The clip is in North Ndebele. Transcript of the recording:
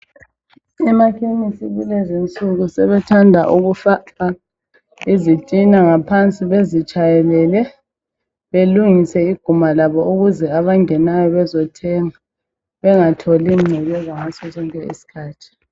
Ema chemist kulezinsuku sebethanda ukufaka izitina ngaphansi bezitshayelele belungise iguma labo ukuze abangenayo bezothenga bengatholi ingcekeza ngaso sonke isikhathi.